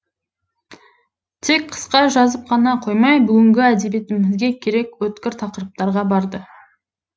тек қысқа жазып қана қоймай бүгінгі әдебиетімізге керек өткір тақырыптарға барды